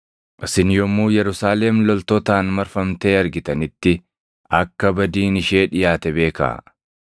“Isin yommuu Yerusaalem loltootaan marfamtee argitanitti akka badiin ishee dhiʼaate beekaa.